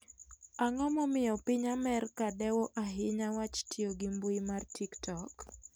Ang'o momiyo piny Amerka dewo ahinya wach tiyo gi mbui mar TikTok?